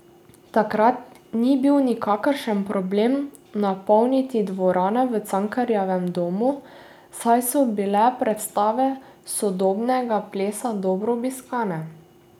Takrat ni bil nikakršen problem napolnit dvorano v Cankarjevem domu, saj so bile predstave sodobnega plesa dobro obiskane.